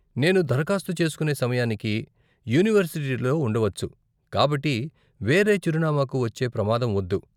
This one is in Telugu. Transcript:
నేను దరఖాస్తు చేసుకునే సమయానికి యూనివర్సిటీలో ఉండవచ్చు, కాబట్టి వేరే చిరునామాకు వచ్చే ప్రమాదం వద్దు.